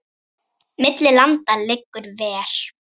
Milli landa liggur ver.